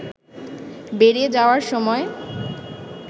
বেরিয়ে যাওয়ার সময়